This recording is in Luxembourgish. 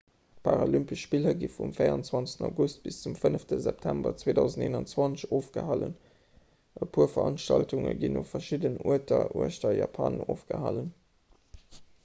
d'paralympesch spiller gi vum 24 august bis zum 5 september 2021 ofgehalen e puer veranstaltunge ginn u verschiddenen uerter uechter japan ofgehalen